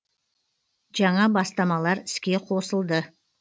жаңа бастамалар іске қосылды